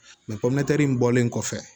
in bɔlen kɔfɛ